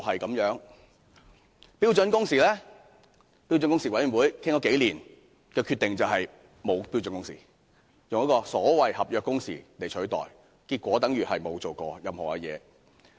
至於標準工時，標準工時委員會商討數年所得的決定，就是沒有標準工時，只以所謂的"合約工時"來取代，結果等於甚麼也沒做過。